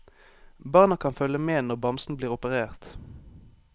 Barna kan følge med når bamsen blir operert.